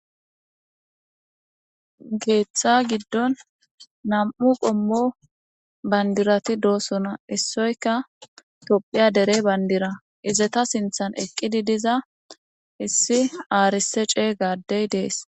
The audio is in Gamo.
Keththa giddon nam'u qommo banddirati doosona issoyika tophphiya dere banddira izeta sinththen eqqidi dizza issi aarisse chegga addey deesi.